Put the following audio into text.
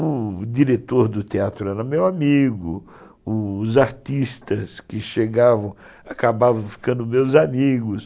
O diretor do teatro era meu amigo, os artistas que chegavam acabavam ficando meus amigos,